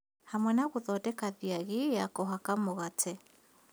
Hamwe na gũthondeka thiagĩ ya kũhaka mũgate